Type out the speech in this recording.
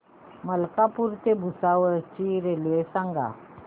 मलकापूर ते भुसावळ ची रेल्वे सांगा